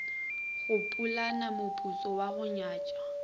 mopulana moputso wa go nyatša